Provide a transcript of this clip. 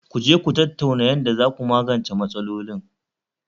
Ku je Ku tattauna yanda zaku magance matsalolin